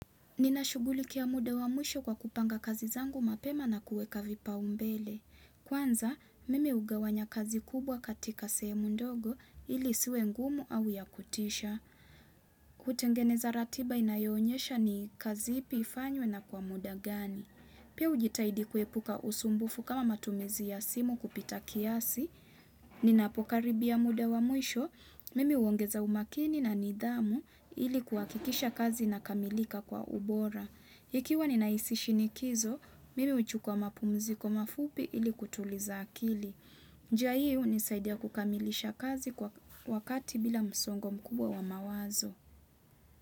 Ninashughulikia muda wa mwisho kwa kupanga kazi zangu mapema na kuweka vipaumbele. Kwanza, mimi hugawanya kazi kubwa katika sehemu ndogo ili isiwe ngumu au ya kutisha. Kutengeneza ratiba inayoonyesha ni kazi ipi ifanywe na kwa muda gani. Pia hujitahidi kuepuka usumbufu kama matumizi ya simu kupita kiasi, ninapokaribia muda wa mwisho, mimi huongeza umakini na nidhamu ili kuhakikisha kazi inakamilika kwa ubora. Ikiwa ninahisi shinikizo, mimi huchukua mapumziko mafupi ili kutuliza akili. Njia hii hunisaidia kukamilisha kazi kwa wakati bila msongo mkubwa wa mawazo.